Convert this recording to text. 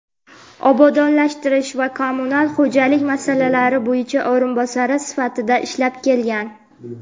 obodonlashtirish va kommunal xo‘jalik masalalari bo‘yicha o‘rinbosari sifatida ishlab kelgan.